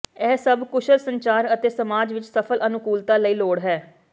ਇਹ ਸਭ ਕੁਸ਼ਲ ਸੰਚਾਰ ਅਤੇ ਸਮਾਜ ਵਿੱਚ ਸਫਲ ਅਨੁਕੂਲਤਾ ਲਈ ਲੋੜ ਹੈ